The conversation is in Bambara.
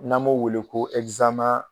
N'an b'o wele ko